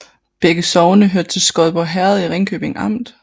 Begge sogne hørte til Skodborg Herred i Ringkøbing Amt